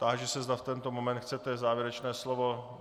Táži se, zda v tento moment chcete závěrečné slovo.